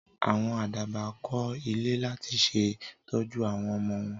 Àwọn Àdàbà kó ilé láti ṣe tọ́jú àwọn ọmọ wọn